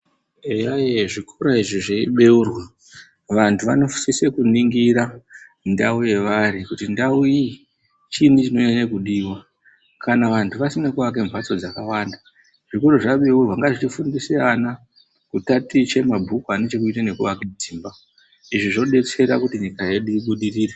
Eya ee zvikora izvi zveibeurwa, vantu vanosisa kuningira ndau yevari kuti ndau iyi chiinyi chinonyanya kudiwa. Kana vantu vasina kuaka mhatso dzakawanda, zvikora zvabeurwa ngazvifundise vana kutaticha mabhuku ane chekuita nekuaka dzimba. Izvi zvobetsera kuti nyika yedu ibudirire.